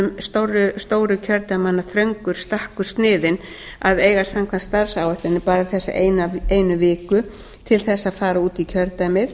þingmönnum stóru kjördæmanna er þröngur stakkur sniðinn að eiga samkvæmt starfsáætlun bara þessa einu viku til þess að fara út í kjördæmið